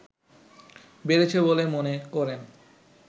বেড়েছে বলে মনে করেন